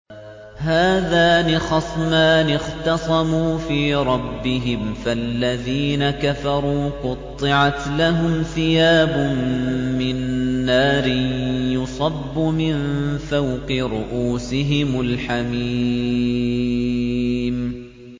۞ هَٰذَانِ خَصْمَانِ اخْتَصَمُوا فِي رَبِّهِمْ ۖ فَالَّذِينَ كَفَرُوا قُطِّعَتْ لَهُمْ ثِيَابٌ مِّن نَّارٍ يُصَبُّ مِن فَوْقِ رُءُوسِهِمُ الْحَمِيمُ